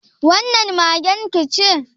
Wannan magen ki ce?